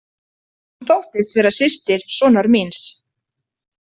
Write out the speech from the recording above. Hún þóttist vera systir sonar míns.